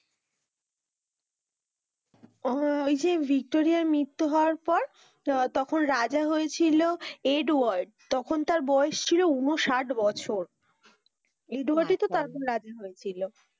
উম ভিক্টোরিয়ার মৃত্যু হওয়ার পর আহ তখন রাজা হয়েছিল এডওয়ার্ড তখন তার বয়েস ছিল ঊনষাট বছর এডওয়ার্ড এ তো তার পর রাজা হয়েছিল,